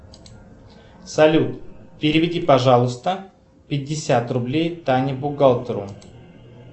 салют переведи пожалуйста пятьдесят рублей тане бухгалтеру